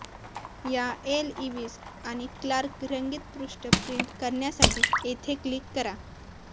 या Lewis आणि Clark रंगीत पृष्ठ प्रिंट करण्यासाठी येथे क्लिक करा